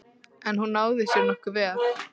En hún náði sér nokkuð vel.